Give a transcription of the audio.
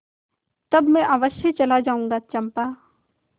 तब मैं अवश्य चला जाऊँगा चंपा